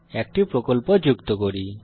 একটি প্রকল্প যুক্ত করি